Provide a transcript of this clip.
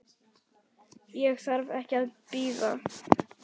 Ég þarf ekki að bíða.